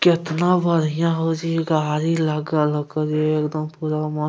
केतना बढ़िया हो चि गाड़ी लागल हो कर एकदम पूरा म --